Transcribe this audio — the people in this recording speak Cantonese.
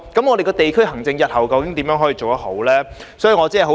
我們的地區行政日後究竟如何才能做得好呢？